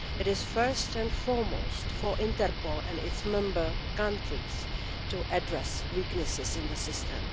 It is first and foremost for Interpol and its member countries to address weaknesses in the system.